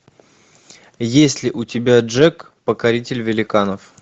есть ли у тебя джек покоритель великанов